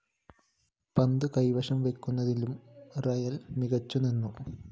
പന്ത് കൈവശം വയ്ക്കുന്നതിലും റിയൽ മികച്ചു നിന്നു